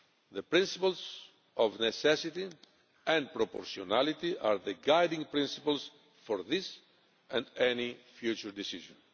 The principles of necessity and proportionality are the guiding principles for this and any future decision.